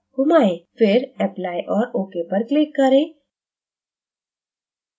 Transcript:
फिर apply और ok पर click करें